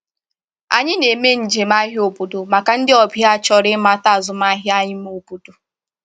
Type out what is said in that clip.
Anyị na-eme njem ahịa obodo maka ndị ọbịa chọrọ ịmata azụmahịa ime obodo.